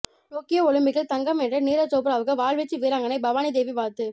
Tokyo ஒலிம்பிக்கில் தங்கம் வென்ற நீரஜ் சோப்ராவுக்கு வாள்வீச்சு வீராங்கனை பவானிதேவி வாழ்த்து